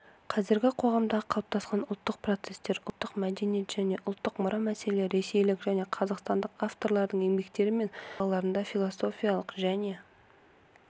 қазіргі қоғамдағы қалыптасқан ұлттық процестер ұлттық мәдениет және ұлттық мұра мәселелері ресейлік және қазақстандық авторлардың еңбектері мен мақала-ларында философиялық жоне